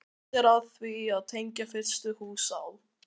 Stefnt er að því að tengja fyrstu hús á